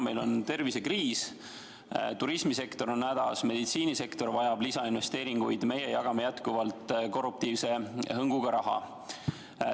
Meil on tervisekriis, turismisektor on hädas, meditsiinisektor vajab lisainvesteeringuid, meie aga jagame jätkuvalt korruptiivse hõnguga raha.